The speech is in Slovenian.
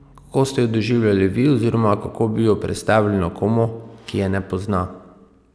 Kako ste jo doživljali vi oziroma kako bi jo predstavili nekomu, ki je ne pozna?